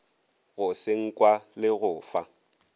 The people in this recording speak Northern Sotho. go senkwa le go fa